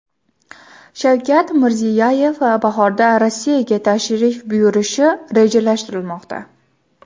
Shavkat Mirziyoyev bahorda Rossiyaga tashrif buyurishi rejalashtirilmoqda .